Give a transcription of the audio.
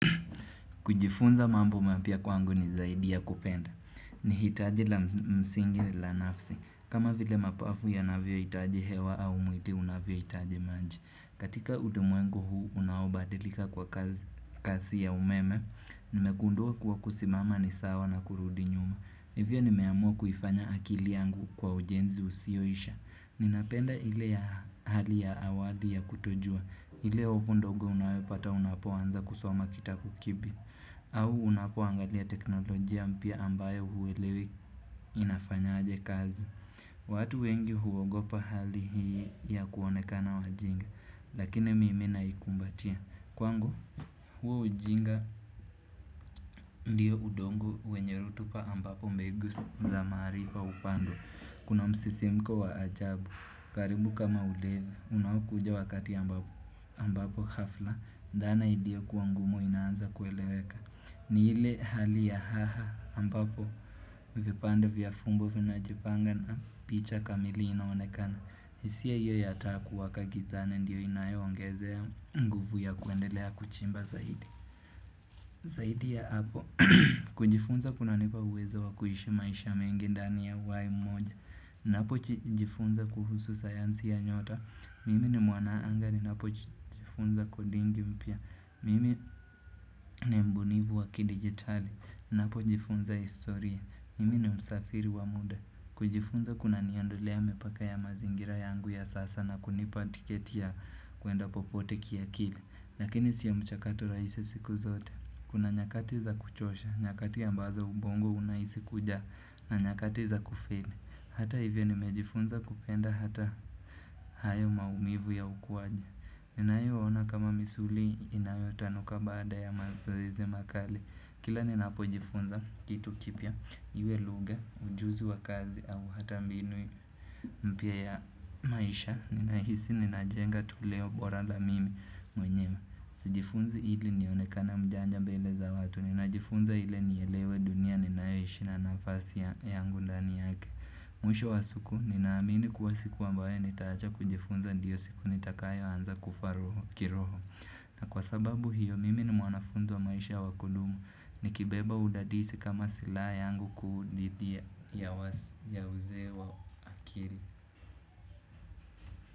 Kujifunza mambo mapya kwangu ni zaidi ya kupenda. Ni hitaji la msingi na la nafsi. Kama vile mapafu ya navyo hitaji hewa au mwili unavyo hitaji maji. Katika ulimwengu huu unaobadilika kwa kasi ya umeme, nimegundua kuwa kusimama ni sawa na kurudi nyuma. Ndivyo nimeamua kufanya akili yangu kwa ujenzi usioisha. Ninapenda ile ya hali ya awali ya kutojua. Ile hofu ndogo unayopata unapoanza kusoma kitabu kipya. Au unapo angalia teknolojia mpya ambayo huelewi inafanyaje kazi. Watu wengi huogopa hali hii ya kuonekana wajinga. Lakini mimi naikumbatia. Kwangu, huu ujinga ndiyo udongo wenye rutupa ambapo mbegu za maarifa upandwa. Kuna msisimko wa ajabu, karibu kama ulevi, unakuja wakati ambapo hafla, dhana iliyo kuwa ngumu inaanza kueleweka. Ni ile hali ya haha ambapo vipande vya fumbo vinajipanga na picha kamili inaonekana. Hisia hiyo ya taa kuwaka gizani ndiyo inayoongezea nguvu ya kuendelea kuchimba zaidi. Zaidi ya hapo, kujifunza kuna nipa uwezo wa kuishi maisha mengi ndani ya uai mmoja. Napo chijifunza kuhusu sayansi ya nyota. Mimi ni mwanaangani. Napojifunza kodingi mpya. Mimi ni mbunifu wa kidigitali. Napojifunza historia. Mimi ni msafiri wa muda. Kujifunza kuna niandolea mipaka ya mazingira yangu ya sasa na kunipa tiketi ya kuenda popote kiakili Lakini sio mchakato rahisi siku zote Kuna nyakati za kuchosha, nyakati ambazo ubongo unahisi kuja na nyakati za kufeli Hata hivyo nimejifunza kupenda hata hayo maumivu ya ukuaji ninayo ona kama misuli inayo tanuka baada ya mazoezi makali Kila ninapojifunza kitu kipya, iwe lugha, ujuzi wa kazi au hata mbinu mpya ya maisha, ninahisi ninajenga tuleo bora la mimi mwenye. Sijifunzi ili nionekena mjanja mbele za watu, ninajifunza ili nielewe dunia ninayoishi na nafasi yangu ndani yake. Mwisho wa siku, ninaamini kuwa siku ambayo nitaacha kujifunza ndiyo siku nitakayo anza kufa kiroho. Na kwa sababu hiyo mimi ni mwanafunzi wa maisha wa kudumu nikibeba udadisi kama sila yangu kuu didhi ya uzee wa akili.